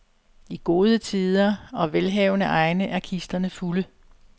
I gode tider og velhavende egne er kisterne fulde.